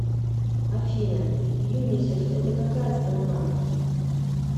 афина юнисеф это какая страна